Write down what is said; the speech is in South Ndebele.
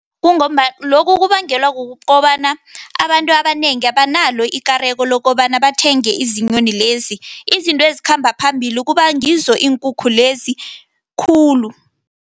Kungombana, lokhu kubangelwa kukobana, abantu abanengi abanalo ikareko lokobana bathenge izinyoni lezi, izinto ezikhamba phambili kubangizo iinkukhu lezi khulu.